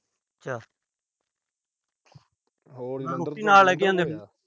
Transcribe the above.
ਹੋਰ।